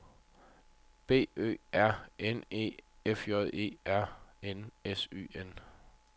B Ø R N E F J E R N S Y N